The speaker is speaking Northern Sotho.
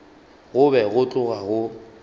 go be go tloga go